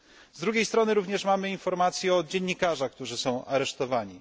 Z drugiej strony, również mamy informacje o dziennikarzach, którzy są aresztowani.